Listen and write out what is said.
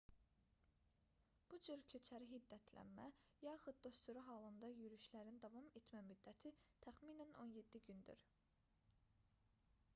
bu cür köçəri hiddətlənmə yaxud da sürü halında yürüşlərin davam etmə müddəti təxminən 17 gündür